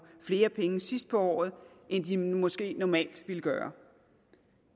flere penge sidst på året end de måske normalt ville gøre